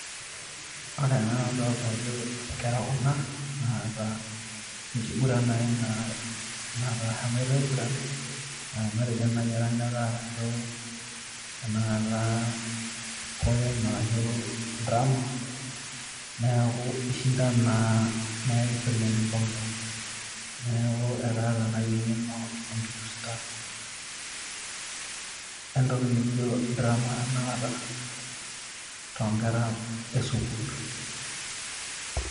Ore ena nadolta ajo inkera kuna naata enkiguran naai naa naata ehomoita aiguran matejo naai eranyata ashu enakata poem arashu drama neeku ishinda naa neeku kishori enkikombe neeku ekaata naai eng'eno enkipirta entoki nijio drama tenakata tonkera esukuul.